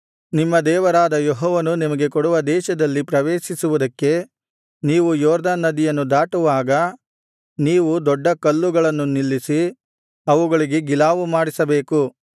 ನಿಮ್ಮ ದೇವರಾದ ಯೆಹೋವನು ನಿಮಗೆ ಕೊಡುವ ದೇಶದಲ್ಲಿ ಪ್ರವೇಶಿಸುವುದಕ್ಕೆ ನೀವು ಯೊರ್ದನ್ ನದಿಯನ್ನು ದಾಟುವಾಗ ನೀವು ದೊಡ್ಡ ಕಲ್ಲುಗಳನ್ನು ನಿಲ್ಲಿಸಿ ಅವುಗಳಿಗೆ ಗಿಲಾವು ಮಾಡಿಸಬೇಕು